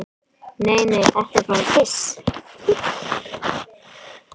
"""Nei, nei, þetta er bara piss."""